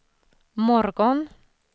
morgon